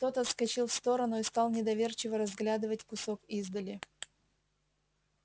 тот отскочил в сторону и стал недоверчиво разглядывать кусок издали